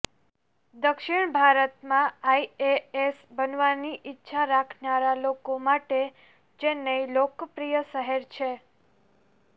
દક્ષિણ ભારતમાં આઈએએસ બનવાની ઈચ્છા રાખનારા લોકો માટે ચેન્નઈ લોકપ્રિય શહેર છે